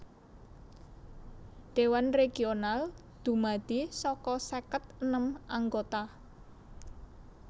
Dewan Regional dumadi saka seket enem anggota